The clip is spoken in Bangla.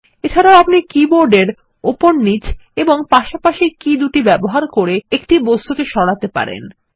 এছাড়াও আপনি কীবোর্ড এর উপর নীচ এবং পাশাপাশি কী দুটি ব্যবহার করে একটি বস্তু সরাতে পারেন